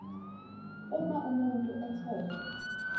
uma umuntu etholwe